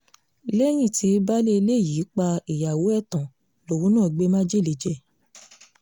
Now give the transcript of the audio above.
lẹ́yìn tí baálé ilé yìí pa ìyàwó ẹ̀ tán lòun náà gbé májèlé jẹ